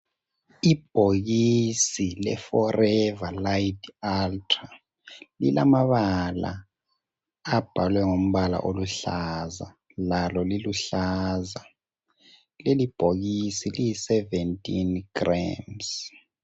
Ibhokisi le "Forever Lite Ultra" lilamabala abhalwe ngombala oluhlaza lalo liluhlaza. Leli bhokisi liyi 17g.